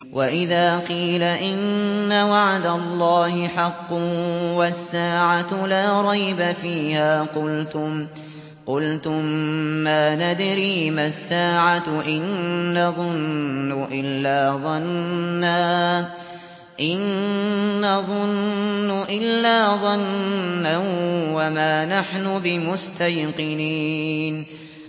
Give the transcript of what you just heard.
وَإِذَا قِيلَ إِنَّ وَعْدَ اللَّهِ حَقٌّ وَالسَّاعَةُ لَا رَيْبَ فِيهَا قُلْتُم مَّا نَدْرِي مَا السَّاعَةُ إِن نَّظُنُّ إِلَّا ظَنًّا وَمَا نَحْنُ بِمُسْتَيْقِنِينَ